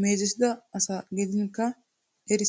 meezettida asa gidinkka eranaassi maaddeees.